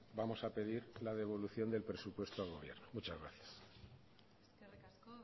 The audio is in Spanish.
vamos a pedir la devolución del presupuesto al gobierno muchas gracias eskerrik asko